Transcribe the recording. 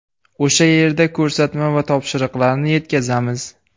O‘sha yerda ko‘rsatma va topshiriqlarni yetkazamiz.